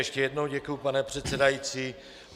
Ještě jednou děkuji, pane předsedající.